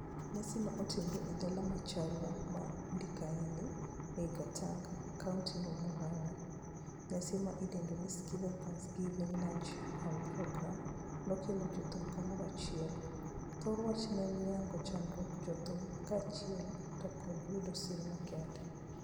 Nyasi ne otimore e dala Macharia ma Ndakaini ei Gatanga, kaunti ma Murang'a. Nyasi ma idendo ni Skiza Thanksgiving Luncheon Program nokelo jothum kamorachiel. Thor wach ne en yango chandruog jothum kaachiel to kod yudo sir makende.